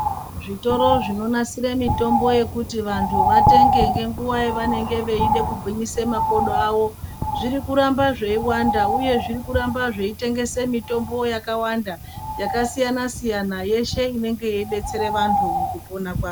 Zvitoro zvinonasire mutombo zvekuti vantu vatenge ngenguwa yavanenge veida kugwinyise makodo awo zviri kuramba zveiwanda uye zviri kuramba zveitengese mutombo yakawanda yakasiyana siyana yeshe inenge yeídetsere vantu mukupona kwa.